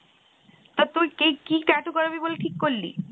আর তুই কে~কি tattoo করাবি বলে ঠিক করলি?